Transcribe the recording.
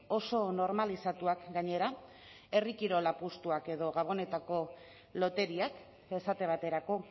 oso normalizatuak gainera herri kirol apustuak edo gabonetako loteriak esate baterako